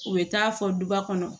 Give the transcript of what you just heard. U bɛ taa fɔ duba kɔnɔ